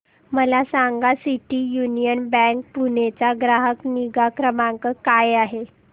मला सांगा city union bank Pune चा ग्राहक निगा क्रमांक काय आहे